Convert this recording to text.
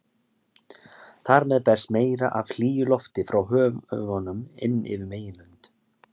Þar með berst meira af hlýju lofti frá höfunum inn yfir meginlönd.